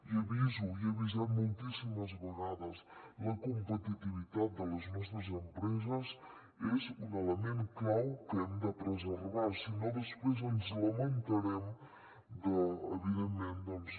i aviso i he avisat moltíssimes vegades la competitivitat de les nostres empreses és un element clau que hem de preservar si no després ens lamentarem de evidentment doncs